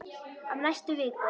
Á næstu vikum.